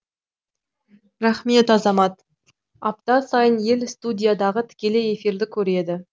рахмет азамат апта сайын ел студиядағы тікелей эфирді көреді